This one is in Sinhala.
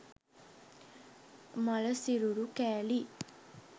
මළ සිරුරු කෑලි